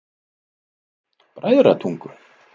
Bræðratungu